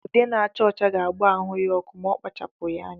Ude na-acha ọcha ga-agba ahụ ya ọkụ ma ọ kpachaghi anya.